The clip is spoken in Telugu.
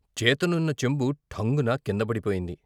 చేతనున్న చెంబు ఠంగున కింద పడిపోయింది.